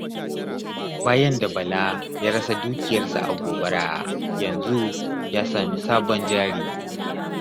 Bayan da Bala ya rasa dukiyarsa a gobara, yanzu ya sami sabon jari.